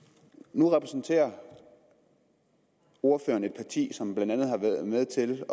nu repræsenterer ordføreren et parti som blandt andet har været med til